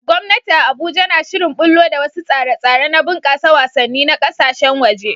Gwamnati a Abuja na shirin ɓullo da wasu tsare-tsare na bunƙasa wasanni na ƙasashen waje